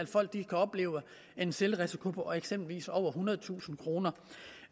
folk kan opleve en selvrisiko på eksempelvis over ethundredetusind kroner